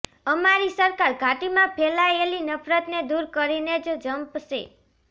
અમારી સરકાર ઘાટીમાં ફેલાયેલી નફરતને દૂર કરીને જ ઝંપશે